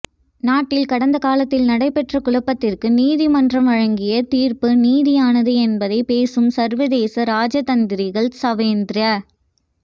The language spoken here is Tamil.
நாட்டில் கடந்த காலத்தில் நடைபெற்ற குழப்பத்திற்கு நீதிமன்றம்ழங்கிய தீர்ப்பு நீதியானது என்பதை பேசும் சர்வதேச இராஜதந்திரிகள் சவேந்திர